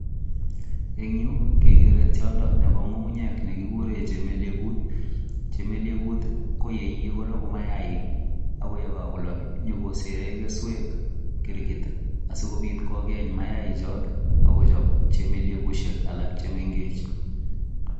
En yu kegeree tiondo nebo ng'ung'unyek ne kigure chemelegut. Chemelegut ko yeiye kologu mayaaik akye kagolok konyokosere keswek kirgit asikobit kogeny mayaichoto ak kochob chemelegushek alak che mengech